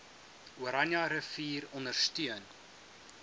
oranje rivier ondersteun